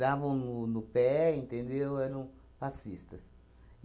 Davam no no pé, entendeu? Eram passistas.